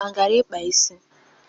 Amaka agara ịkpa isi?